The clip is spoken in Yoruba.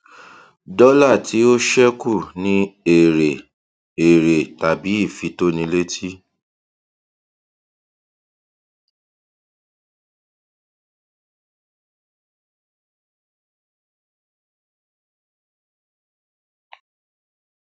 dọlà tí ó ṣẹkù ni èrè èrè tàbí ifitónilétí